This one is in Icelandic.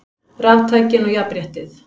Raftækin og jafnréttið